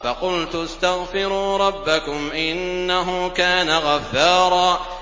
فَقُلْتُ اسْتَغْفِرُوا رَبَّكُمْ إِنَّهُ كَانَ غَفَّارًا